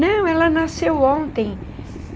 Não, ela nasceu ontem.